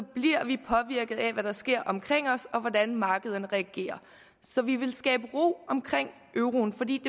bliver vi påvirket af hvad der sker omkring os og hvordan markederne reagerer så vi vil skabe ro omkring euroen fordi